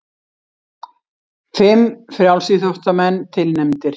Fimm frjálsíþróttamenn tilnefndir